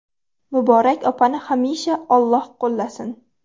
Muborak opani hamisha Alloh qo‘llasin.